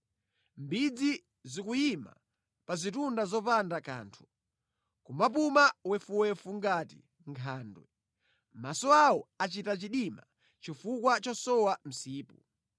Mbidzi zikuyima pa zitunda zopanda kanthu nʼkumapuma wefuwefu ngati nkhandwe; maso awo achita chidima chifukwa chosowa msipu.”